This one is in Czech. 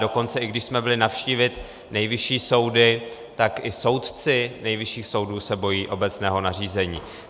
Dokonce i když jsme byli navštívit nejvyšší soudy, tak i soudci nejvyšších soudů se bojí obecného nařízení.